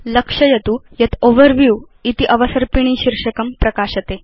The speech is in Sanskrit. लक्षयतु यत् ओवरव्यू इति अवसर्पिणी शीर्षकं प्रकाशते